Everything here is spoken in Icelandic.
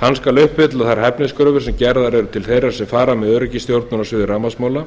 hann skal uppfylla þær hæfniskröfur sem gerðar eru til þeirra sem fara með öryggisstjórnun á sviði rafmagnsmála